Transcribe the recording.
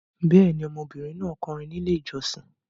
Bẹ́ẹ̀ ni, ọmọbìnrin náà kọrin ní Ilé-ìjọsìn.